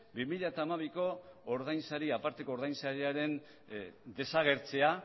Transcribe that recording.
bi mila hamabiko aparteko ordainsariaren desagertzea